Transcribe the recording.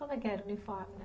Como é que era o uniforme